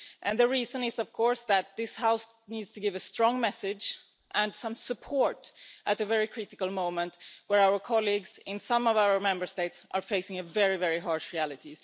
The reason is, of course, that this House needs to give a strong message and some support at a very critical moment when our colleagues in some of our Member States are facing a very, very harsh reality.